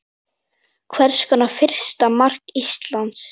Hver skorar fyrsta mark Íslands?